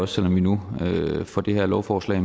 selv om vi nu får det her lovforslag